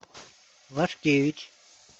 лашкевич